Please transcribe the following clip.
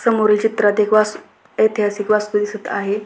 समोरील चित्रात एक वासू ऐतिहासिक वास्तू दिसत आहे.